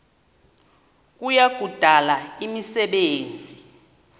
kuya kudala imisebenzi